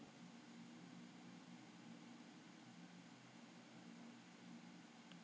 Sigurleifur, spilaðu lagið „Ástardúett“.